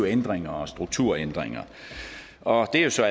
ændringer og strukturændringer og det er så